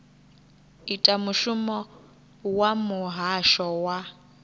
ita mushumo wa muhasho wa